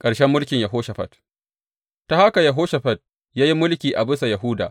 Ƙarshen mulkin Yehoshafat Ta haka Yehoshafat ya yi mulki a bisa Yahuda.